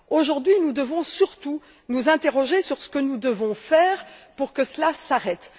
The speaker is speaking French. Aujourd'hui, nous devons surtout nous interroger sur ce que nous devons faire pour que cela s'arrête.